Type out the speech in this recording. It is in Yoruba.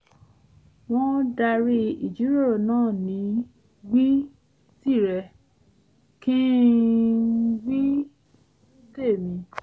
wọ́n darí ìjíròrò náà ní wí tìrẹ - kí-n- wí- tèmi